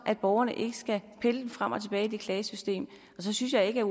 borgerne ikke skal pendle frem og tilbage i det klagesystem så synes jeg ikke at